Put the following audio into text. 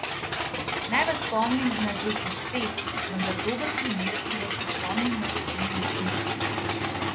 Naj vas spomnim na že izpet, vendar dober primer, ki vas bo spomnil na pomembnost misli.